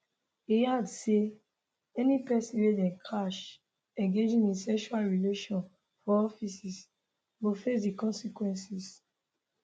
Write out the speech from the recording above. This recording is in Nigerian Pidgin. e add say any pesin wey dem catch engaging in sexual relation for offices go face di consequences